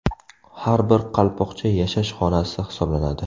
Har bir qalpoqcha yashash xonasi hisoblanadi.